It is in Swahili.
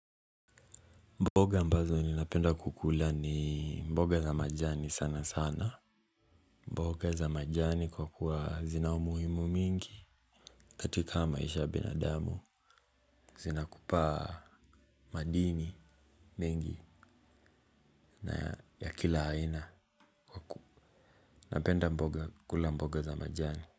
Mboga ambazo ninapenda kukula ni mboga za majani sana sana. Mboga za majani kwa kuwa zina umuhimu mingi. Katika maisha ya binadamu. Zinakupaa madini mingi na ya kila aina. Napenda mboga kukula mboga za majani.